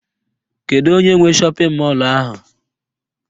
Kedu onye nwe shọpịn mọlụ ahụ?